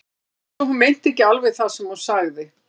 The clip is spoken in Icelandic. Það var eins og hún meinti ekki alveg það sem hún sagði.